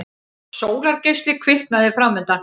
Sólargeisli kviknaði framundan.